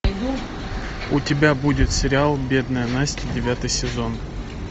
у тебя будет сериал бедная настя девятый сезон